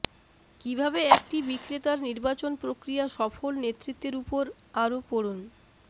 কিভাবে একটি বিক্রেতার নির্বাচন প্রক্রিয়া সফল নেতৃত্বের উপর আরো পড়ুন